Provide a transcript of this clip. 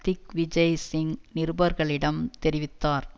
திக் விஜய் சிங் நிருபர்களிடம் தெரிவித்தார்